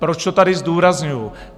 Proč to tady zdůrazňuji?